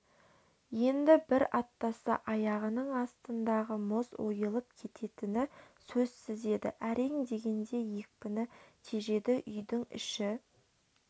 енді бір аттаса аяғының астындағы мұз ойылып кететіні сөзсіз еді әрең дегенде екпіні тежеді үйдің іші